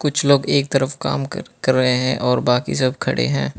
कुछ लोग एक तरफ काम कर कर रहे हैं और बाकी सब खड़े हैं।